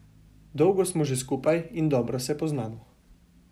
Dolgo smo že skupaj in dobro se poznamo.